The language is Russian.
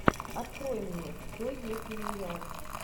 открой мне кто если не я